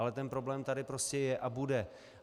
Ale ten problém tady prostě je a bude.